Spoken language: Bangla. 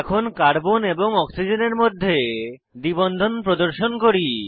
এখন কার্বন এবং অক্সিজেনের মধ্যে দ্বি বন্ধন প্রদর্শন করি